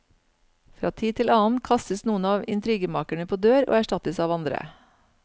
Fra tid til annen kastes noen av intrigemakerne på dør og erstattes av andre.